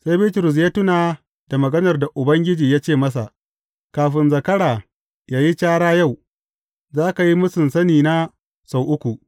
Sai Bitrus ya tuna da maganar da Ubangiji ya ce masa, Kafin zakara ya yi cara yau, za ka yi mūsun sanina sau uku.